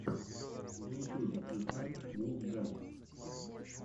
на ютубе включай вулфгэнг